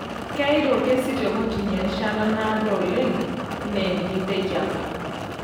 Keyeita olkesi te kotini erishata naado alang' enikinteki apa.